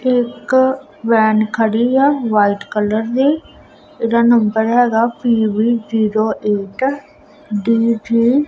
ਇੱਕ ਵੈਨ ਖੜੀ ਆ ਵਾਈਟ ਕਲਰ ਦੀ ਇਹਦਾ ਨੰਬਰ ਹੈਗਾ ਪੀ_ਬੀ ਜ਼ੀਰੋ ਏਟ ਡੀ_ਝੀ ।